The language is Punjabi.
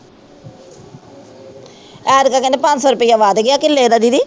ਐਤਕੀ ਕਹਿੰਦੇ ਪੰਜ ਸੌ ਰੁਪਈਆ ਵੱਧ ਗਿਆ ਕਿੱਲੇ ਦਾ ਦੀਦੀ।